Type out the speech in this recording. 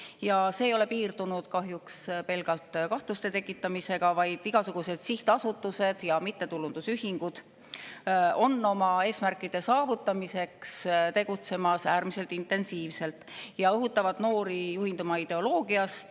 Ja see ei ole piirdunud kahjuks pelgalt kahtluste tekitamisega, vaid igasuguseid sihtasutused ja mittetulundusühingud on oma eesmärkide saavutamiseks tegutsemas äärmiselt intensiivselt ja õhutavad noori juhinduma ideoloogiast.